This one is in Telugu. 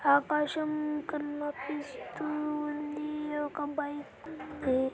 ఆకాశం కన్న--పి--స్తూ ఉంది ఒక బైకు కోయి--